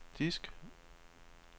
disk